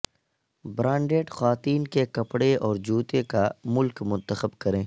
branded خواتین کے کپڑے اور جوتے کا ملک منتخب کریں